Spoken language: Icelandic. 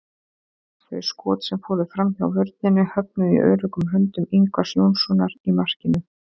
Þau skot sem fóru framhjá vörninni höfnuðu í öruggum höndum Ingvars Jónssonar í markinu.